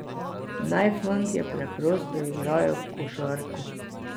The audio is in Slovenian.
Naj fantje preprosto igrajo košarko.